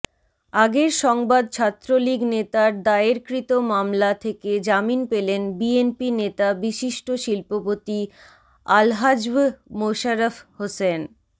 আগের সংবাদ ছাত্রলীগনেতার দায়েরকৃত মামলা থেকে জামিন পেলেন বিএনপিনেতা বিশিষ্ট শিল্পপতি আলহাজ্ব মোশারফ হোসেন